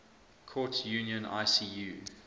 courts union icu